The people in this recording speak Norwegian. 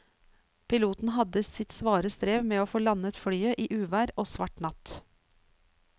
Piloten hadde sitt svare strev med å få landet flyet i uvær og svart natt.